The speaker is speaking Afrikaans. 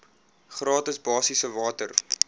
gratis basiese water